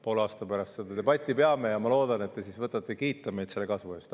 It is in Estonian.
Poole aasta pärast seda debatti peame ja ma loodan, et te siis võtate kiita meid selle kasvu eest.